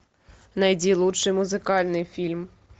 найди лучший музыкальный фильм